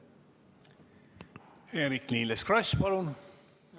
Eerik-Niiles Kross, palun!